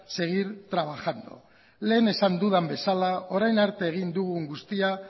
seguir trabajando lehen esan dudan bezala orain arte egin dugun guztia